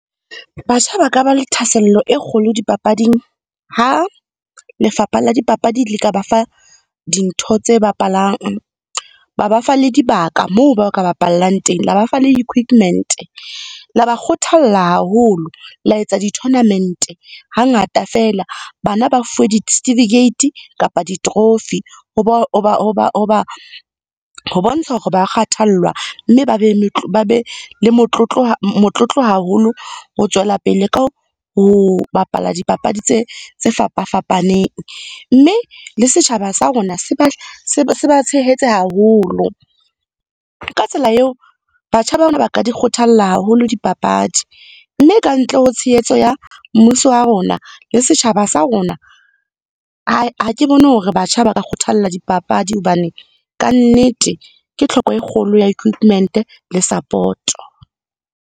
Batjha ba ka ba le thahasello e kgolo dipapading ha lefapha la dipapadi le ka ba fa dintho tse bapalang. Ba ba fa le dibaka moo ba ka bapallang teng, la ba fa le equipment. La ba kgothalla haholo, la etsa di-tournament hangata feela. Bana ba fuwe di-certificate kapa di-trophy. ho bontsha hore ba kgathallwa, mme ba be le motlotlo haholo ho tswela pele ka ho bapala dipapadi tse fapa-fapaneng. Mme, le setjhaba sa rona se ba tshehetse haholo. Ka tsela eo, batjha ba rona ba ka di kgothalla haholo dipapadi. Mme ka ntle ho tshehetso ya mmuso wa rona le setjhaba sa rona. Ha ke bone hore batjha ba ka kgothalla dipapadi hobane ka nnete ke tlhoko e kgolo ya equipment le support.